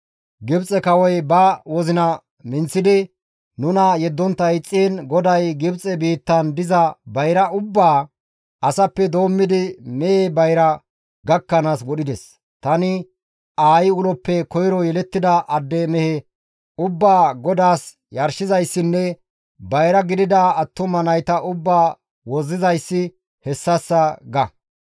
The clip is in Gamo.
Gibxe kawoy ba wozina minththidi nuna yeddontta ixxiin GODAY Gibxe biittan diza bayra ubbaa, asappe doommidi mehe bayra gakkanaas wodhides. Tani aayi uloppe koyro yelettida adde mehe ubbaa GODAAS yarshizayssinne bayra gidida attuma nayta ubbaa wozzizayssi hessassa› ga.